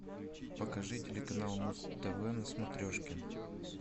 покажи телеканал муз тв на смотрешке